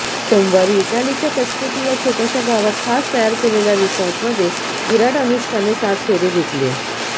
सेामवारी इटालीच्या तस्केती या छोट्याशा गावात खास तयार केलेल्या रिसॉर्टमध्ये विराट अनुष्काने सात फेरे घेतले